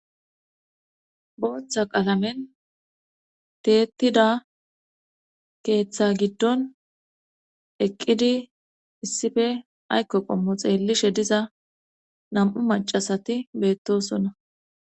booththa qalamen teettida keeththa giddon eqqidi issife ayko qommo xeellishe diza nam7u macasati beettosonna